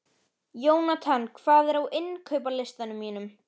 Jónatan, hvað er á innkaupalistanum mínum?